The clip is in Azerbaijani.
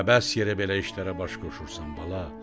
Əbəs yerə belə işlərə baş qoşursan, bala.